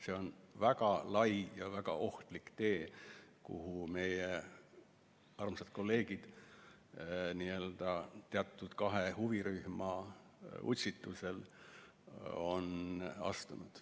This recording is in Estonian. See on väga lai ja väga ohtlik tee, kuhu meie armsad kolleegid teatud kahe huvirühma utsitusel on astunud.